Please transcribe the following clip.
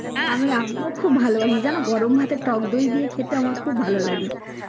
আমি এখনো খুব ভালোবাসি যেন গরম ভাতের টকদই দিয়ে খেতে আমার খুব ভালো লাগে